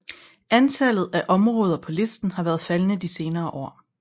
Antallet af områder på listen har været faldende de senere år